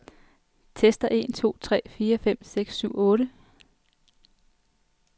Tester en to tre fire fem seks syv otte.